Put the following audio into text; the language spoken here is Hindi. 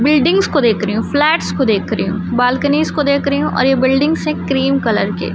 बिल्डिंग्स को देख रही हूं फ्लैट्स को देख रही हूं बालकनीज को देख रही हूं और यह बिल्डिंग्स है क्रीम कलर के --